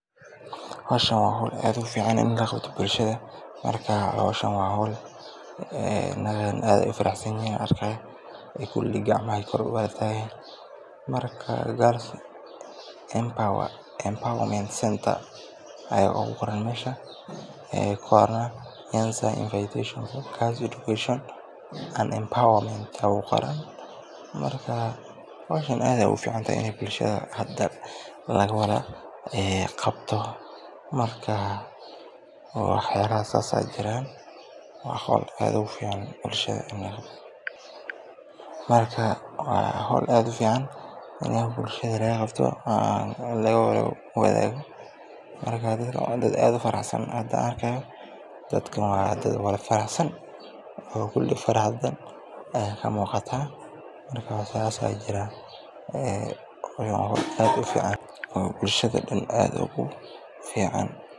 Howshan waa howl aad ufican, nagahan aad ayeey ufaraxsan yihiin, gacmaha ayeey kor utaagi haayan, aad aayeey ufican tahay in bulshada laga qabto, laga wadaago, waa dad aad ufaraxsan, oo kuli farxad ayaa kamuuqata, bulshada dan aad ugu fican.